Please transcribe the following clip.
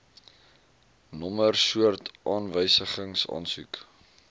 nommer soort aanwysingsaansoek